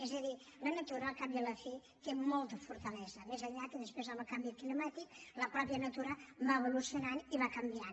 és a dir la natura al cap i a la fi té molta fortalesa més enllà que després amb el canvi climàtic la mateixa natura va evolucionant i va canviant